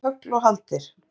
Fram hefur tögl og haldir